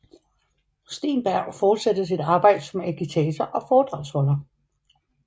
Steenberg forsatte sit arbejde som agitator og foredragsholder